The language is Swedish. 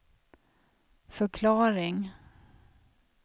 förklaring